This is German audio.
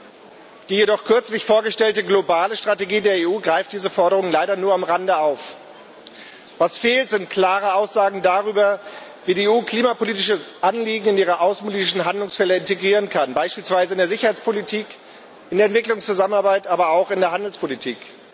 Jedoch greift die kürzlich vorgestellte globale Strategie der EU diese Forderung leider nur am Rande auf. Was fehlt, sind klare Aussagen darüber, wie die EU klimapolitische Anliegen in ihre außenpolitischen Handlungsfelder integrieren kann, beispielsweise in der Sicherheitspolitik, in der Entwicklungszusammenarbeit, aber auch in der Handelspolitik.